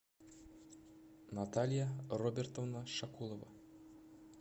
наталья робертовна шакулова